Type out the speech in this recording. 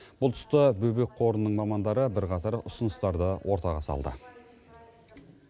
бұл тұста бөбек қорының мамандары бірқатар ұсыныстарды ортаға салды